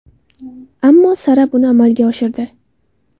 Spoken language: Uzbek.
Ammo Sara buni amalga oshirdi.